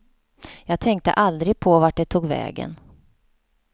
Jag tänkte aldrig på vart det tog vägen.